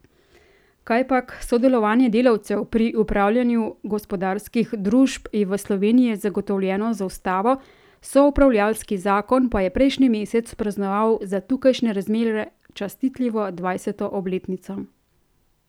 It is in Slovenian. Kajpak, sodelovanje delavcev pri upravljanju gospodarskih družb je v Sloveniji zagotovljeno z ustavo, soupravljalski zakon pa je prejšnji mesec praznoval za tukajšnje razmere častitljivo dvajseto obletnico.